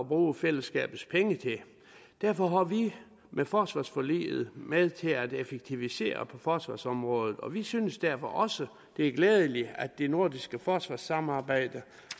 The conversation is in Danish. bruge fællesskabets penge til derfor var vi med forsvarsforliget med til at effektivisere på forsvarsområdet og vi synes derfor også det er glædeligt at det nordiske forsvarssamarbejde